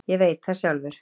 Ég veit það sjálfur.